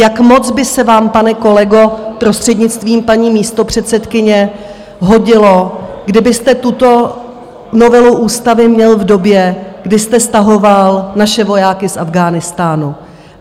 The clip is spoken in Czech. Jak moc by se vám, pane kolego, prostřednictvím paní místopředsedkyně, hodilo, kdybyste tuto novelu ústavy měl v době, kdy jste stahoval naše vojáky z Afghánistánu?